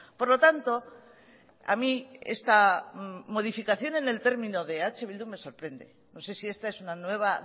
por lo tanto a mí esta modificación en el término de eh bildu me sorprende no sé si esta es una nueva